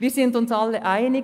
Wir sind uns alle einig: